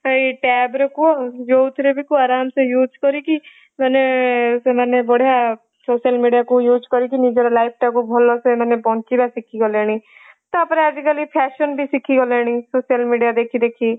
ସେଇ tabରେ କୁହ ଯୋଉ ଥିରେ ବି କୁହ ଆରମ ସେ use କରିକି ମାନେ ସେମାନେ ବଢିଆ social media କୁ use କରିକି ନିଜର life ଟା କୁ ଭଲ ସେ ମାନେ ବଞ୍ଚିବା ଶିଖିଗଲେଣି ତା ପରେ ଆଜି କାଲି fashion ବି ସେଇଖିଗଲେଣି social media ଦେଖି ଦେଖି